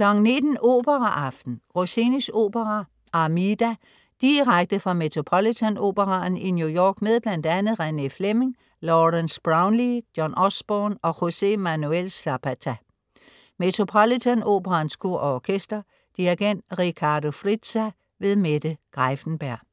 19.00 Operaaften. Rossinis opera Armida. Direkte fra Metropolitan Operaen i New York med bl.a. Renée Fleming, Lawrence Brownlee, John Osborne og José Manuel Zapata. Metropolitan Operaens Kor og Orkester. Dirigent: Riccardo Frizza. Mette Greiffenberg